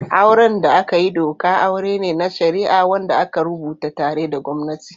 Auren da aka yi doka aure ne na shari'a wanda aka rubuta tare da gwamnati.